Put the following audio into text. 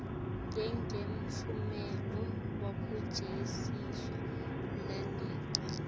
njengemphumela wekujeziswa lanikwe